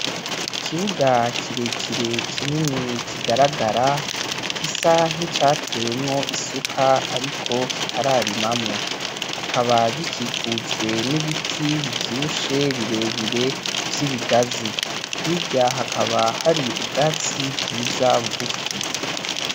ikibuga kirekire kinini kigaragara, gisa nk'icatewemwo isuka ariko itararimamwo. Hakaba gikikujwe n'ibiti bivyibushe birebire vy'ibigazi. Hirya hakaba hari ubwatsi bwiza bugufi.